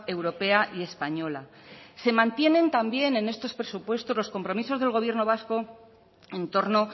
europea y española se mantienen también en estos presupuestos los compromisos del gobierno vasco en torno